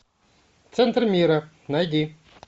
центр мира найди